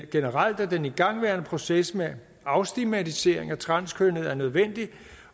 generelt at den igangværende proces med afstigmatisering af transkønnede er nødvendig